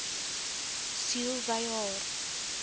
siel wy haar